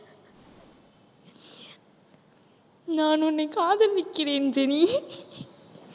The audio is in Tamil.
நான் உன்னை காதலிக்கிறேன் ஜெனி